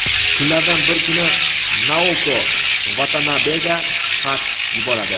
Kunlardan bir kuni Naoko Vatanabega xat yuboradi.